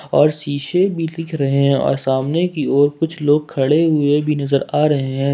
और सीसे भी दिख रहे हैं सामने की ओर कुछ लोग खड़े हुए नजर आ रहे हैं।